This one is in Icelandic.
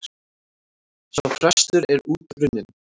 Sá frestur er út runninn.